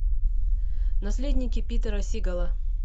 наследники питера сигала